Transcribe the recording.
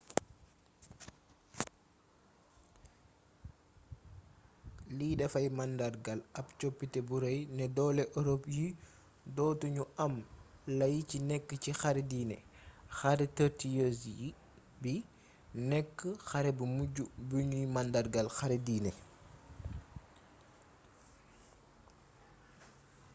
li dafay màndargaal ab coppite bu rëy ne doole ërop yi doo tu ñu am lay ci nekk ci xare diine xare thirty years bi nekk xare bu mujj bu nuy màndargaal xare dine